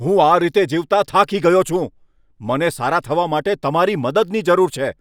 હું આ રીતે જીવતાં થાકી ગયો છું! મને સારા થવા માટે તમારી મદદની જરૂર છે!